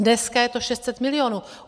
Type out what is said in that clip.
Dneska je to 600 milionů.